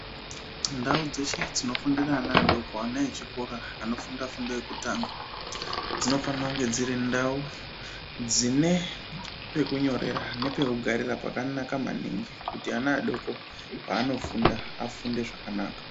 Ndau dzeshe dzinofundira ana adoko ana echikora anofunda fundo yekutanga dzinofanira kunge dziri ndau dzine pekunyorera nepekugaraira pakanaka maningi kuti ana adoko paanofunda afunde zvakanaka.